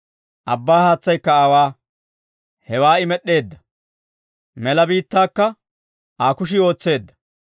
Abbaa haatsaykka aawaa; hewaa I med'd'eedda; mela biittaakka Aa kushii ootseedda.